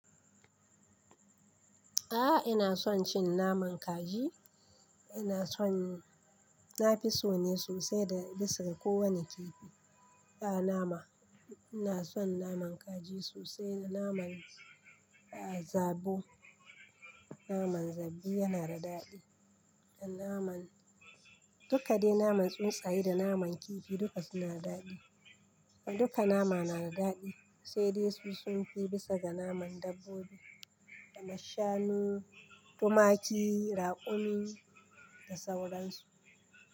A'a ina son cin naman kaji. Ina son, na fi so ne sosai da bisa ga kowane kifi. A'a nama, ina son naman kaji sosai da naman, a zabo. Naman zabi yana da daɗi. Da naman, duka dai naman tsuntsaye da naman kifi duka suna daɗi. Duka nama na da daɗi sai dai su sun fi bisa ga naman dabbobi, dana shanu, tumaki, raƙumi da sauransu.